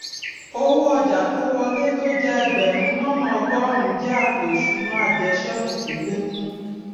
owó ọjà tó wọlé tó jé ẹgbèrún lónà ọgórùnún jé àpò ìsúná àjẹṣékù tó lékún